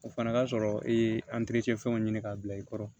O fana ka sɔrɔ i ye fɛnw ɲini k'a bila i kɔrɔ